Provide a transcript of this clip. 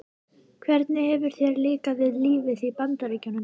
Hvernig hefur þér líkað við lífið í Bandaríkjunum?